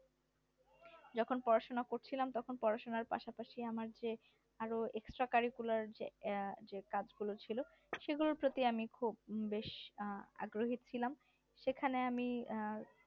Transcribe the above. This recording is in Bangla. যখন পড়াশোনা করছিলাম তখন পড়াশোনার পাশাপাশি আমি আমি আমার চেয়ে আরো extra curricular যে যে কাজ করেছিল সেগুলোর প্রতি আমি খুব বেশ আগ্রহী ছিলাম সেখানে আমি আহ